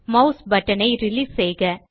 mass button ஐ release செய்க